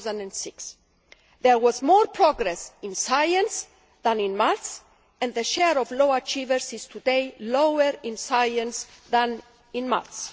2006. There was more progress in science than in maths and the share of low achievers is today lower in science than in maths.